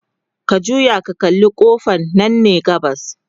ka juya ka kalla ƙofan Nan ne gabas